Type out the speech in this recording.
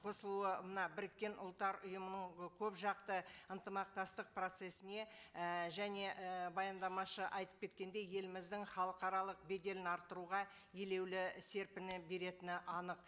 қосылуына біріккен ұлттар ұйымының ы көпжақты ынтымақтастық процессіне і және і баяндамашы атйп кеткендей еліміздің халықаралық беделін арттыруға елеулі серпіні беретіні анық